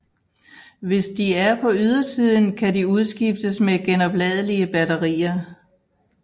Hvis de er på ydersiden kan de udskiftes med genopladelige batterier